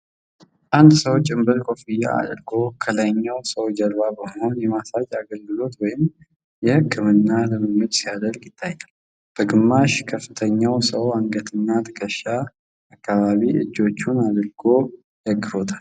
አንድ ሰው ጭንብልና ኮፍያ አድርጎ ከሌላኛው ሰው ጀርባ በመሆን የማሳጅ አገልግሎት ወይም የሕክምና ልምምድ ሲያደርግ ይታያል። በግማሽ ከተኛው ሰው አንገትና ትከሻ አካባቢ እጆቹን አድርጎ ደግፎታል።